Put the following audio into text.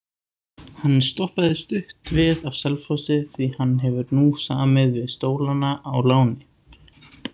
Hann stoppaði stutt við á Selfossi því hann hefur nú samið við Stólana á láni.